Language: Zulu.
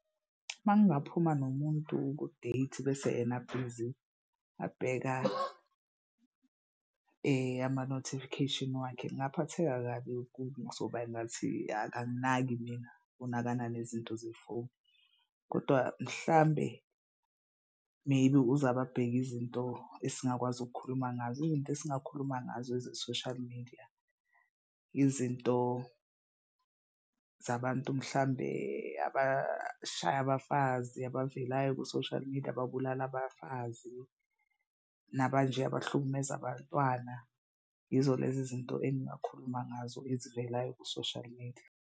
Uma ngingaphuma nomuntu ku-date bese yena abhizi abheka ama-notification wakhe, ngingaphatheka kabi kuzoba engathi akanginaki mina unakana nezinto zefoni kodwa mhlambe maybe uzababheki izinto esingakwazi ukukhuluma ngazo. Izinto esingakhuluma ngazo eze-social media. Izinto zabantu mhlambe abashaya abafazi abavelayo ku-social media ababulala abafazi naba nje abahlukumeza bantwana. Yizo lezi zinto engingakhuluma ngazo ezivelayo ku-social media.